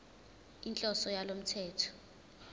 inhloso yalo mthetho